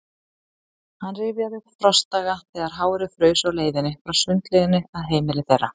Hann rifjaði upp frostdaga, þegar hárið fraus á leiðinni frá sundlauginni að heimili þeirra.